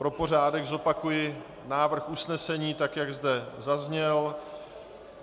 Pro pořádek zopakuji návrh usnesení, tak jak zde zazněl.